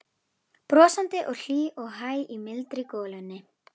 Brosandi og hlý og hæg í mildri golunni.